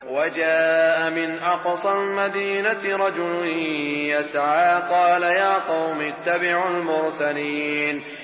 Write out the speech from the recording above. وَجَاءَ مِنْ أَقْصَى الْمَدِينَةِ رَجُلٌ يَسْعَىٰ قَالَ يَا قَوْمِ اتَّبِعُوا الْمُرْسَلِينَ